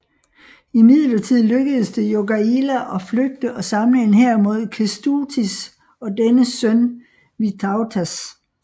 Imidlertid lykkedes det Jogaila at flygte og samle en hær mod Kęstutis og dennes søn Vytautas